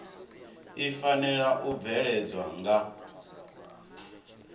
i fanela u bveledzwa nga